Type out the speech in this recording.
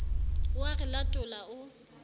o a re latola o